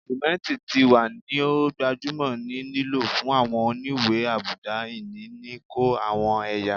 Simenti ti wa ni o gbajumo ni lilo fun awọn oniwe-abuda-ini ni ko awọn ẹya